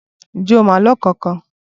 Ǹjẹ́ o mọ àlọ́ kankan?